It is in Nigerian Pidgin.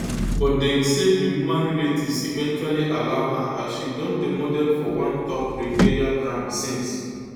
but deng say di woman relatives eventually allow her and she don dey model for one top lingerie brand since